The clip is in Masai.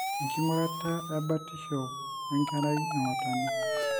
engurata ebotisho enkerai ongotonye.